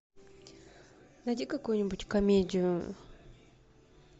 найди какую нибудь комедию